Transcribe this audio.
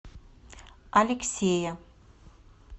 алексея